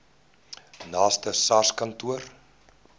naaste sars kantoor